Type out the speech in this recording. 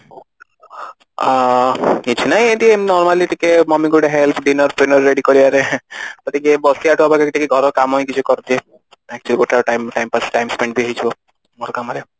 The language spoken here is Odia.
ଆଁ କିଛି ନାଇଁ ଏମିତି normally ଟିକେ mummy ଙ୍କୁ ଗୋଟେ help dinner ଫିନର ready କରିବାରେ ତ ଟିକେ ବସିବଠୁ ଭଲ ଘର କାମ ହି କିଛି କରିଦିଏ ଗୋଟେ time Timepass time spend ବି ଟିକେ ହେଇଯିବ ଘର କାମରେ